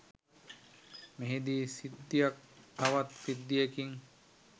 මෙහිදී සිද්ධියක් තවත් සිද්ධියකින්